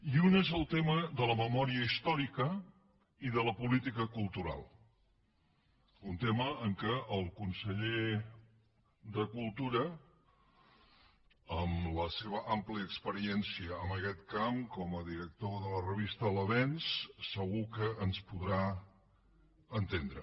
i un és el tema de la memòria històrica i de la política cultural un tema en què el conseller de cultura amb la seva àmplia experiència en aquest camp com a director de la revista l’avenç segur que ens podrà entendre